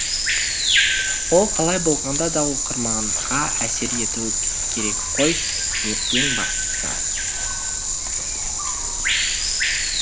ол қалай болғанда да оқырманға әсер етуі керек қой ең бастысы